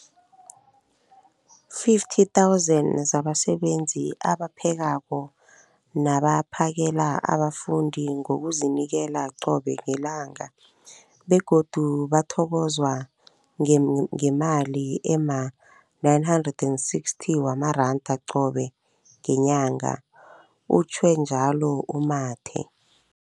50 000 zabasebenzi abaphekako nabaphakela abafundi ngokuzinikela qobe ngelanga, begodu bathokozwa ngemali ema-960 wamaranda qobe ngenyanga, utjhwe njalo u-Mathe.